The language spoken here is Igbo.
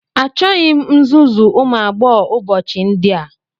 Achọghị m nzuzu ụmụ agbọghọ ụbọchị ndị a